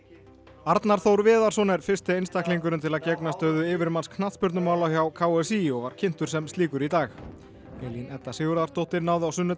Arnar Þór Viðarsson er fyrsti einstaklingurinn til að gegna stöðu yfirmanns knattspyrnumála hjá k s í og var kynntur sem slíkur í dag Elín Edda Sigurðardóttir náði á sunnudag